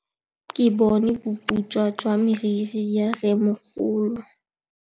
Ke bone boputswa jwa meriri ya rrêmogolo.